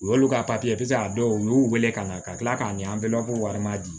U y'olu ka pise a dɔw y'u wele ka na ka kila k'a ɲɛ an bɛɛ b'a fɔ ko warima di